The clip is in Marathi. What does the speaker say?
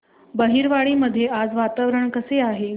बहिरवाडी मध्ये आज वातावरण कसे आहे